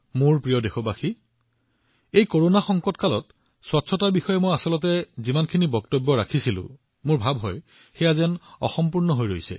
মোৰ মৰমৰ দেশবাসীসকল মই ভাবো এই কৰোনা কালত মই পৰিষ্কাৰ পৰিচ্ছন্নতাৰ বিষয়ে যিমান কব লাগিছিল তাত কিছু বাকী থাকি গল